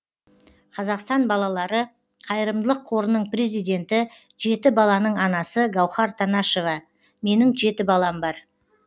қазақстан балалары қайырымдылық қорының президенті жеті баланың анасы гаухар танашева менің жеті балам бар